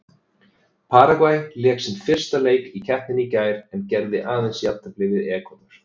Paragvæ lék sinn fyrsta leik í keppninni í gær en gerði aðeins jafntefli við Ekvador.